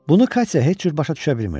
Bunu Katya heç cür başa düşə bilmirdi.